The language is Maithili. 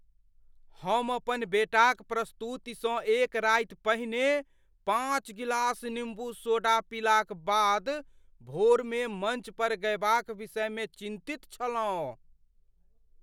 हम अपन बेटाक प्रस्तुतिसँ एक राति पहिने पाँच गिलास निम्बू सोडा पीलाक बाद भोरमे मञ्च पर गयबाक विषयमे चिन्तित छलहुँ।